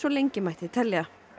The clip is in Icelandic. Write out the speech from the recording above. lengi mætti telja